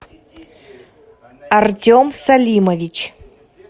артем салимович